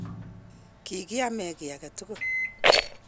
kikiame ki age tugul,